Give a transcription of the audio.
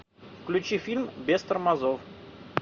включи фильм без тормозов